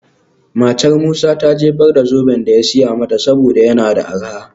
Matar Musa ta jefar da zoben da ya siya mata saboda yana da arha.